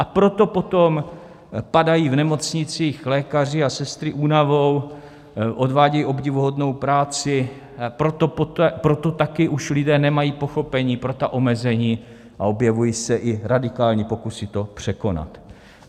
A proto potom padají v nemocnicích lékaři a sestry únavou, odvádějí obdivuhodnou práci, proto také už lidé nemají pochopení pro ta omezení a objevují se i radikální pokusy to překonat.